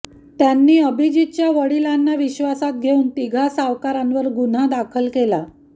त्यांनी आभिजितच्या वडिलांना विश्वासात घेऊन तिघा सावकारांवर गुन्हा दाखल केला